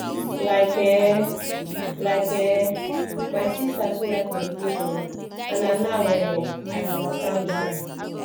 like eh like eh my sister too like meditation and na now um i understand why